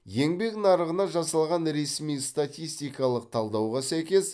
еңбек нарығына жасалған ресми статистикалық талдауға сәйкес